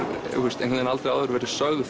aldrei verið sögð